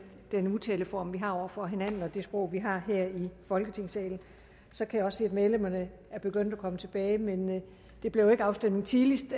den tiltaleform vi har over for hinanden og det sprog vi har her i folketingssalen jeg kan også se at medlemmerne er begyndt at komme tilbage men det blev ikke afstemning tidligst